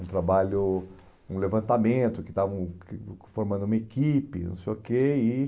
Um trabalho, um levantamento, que estava formando uma equipe, não sei o quê. E